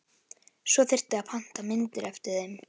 Svo þyrfti að panta myndir eftir þeim.